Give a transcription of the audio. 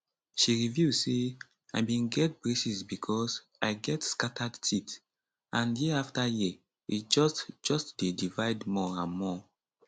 she reveal say i bin get braces becos i get scattered teeth and year afta year e just just dey divide more and more